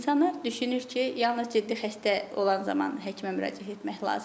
İnsanlar düşünür ki, yalnız ciddi xəstə olan zaman həkimə müraciət etmək lazımdır.